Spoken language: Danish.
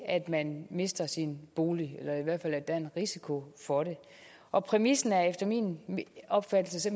at man mister sin bolig eller i hvert fald at der er en risiko for det og præmissen er efter min opfattelse